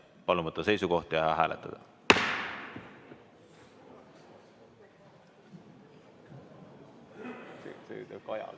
Palun võtta seisukoht ja hääletada!